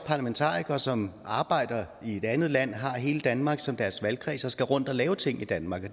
parlamentarikere som arbejder i et andet land har hele danmark som deres valgkreds og som skal rundt og lave ting i danmark og